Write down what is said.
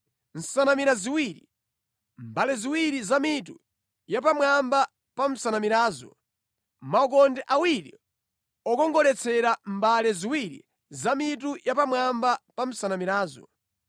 nsanamira ziwiri; mbale ziwiri za mitu yapamwamba pa nsanamirazo; maukonde awiri okongoletsera mbale ziwiri za mitu yapamwamba pa nsanamirazo;